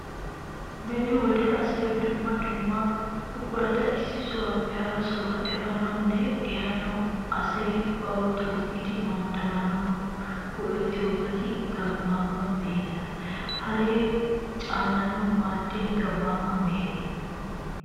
Beni wode asay dumma dumma buqurata issi sohuwaappe hara sohuwa efaanawunne ehaanawu, asay bawu toggidi manddaranawu go'ettiyoobati gammaama meheta. Haree caanaanawu maaddiya gammaama mehe.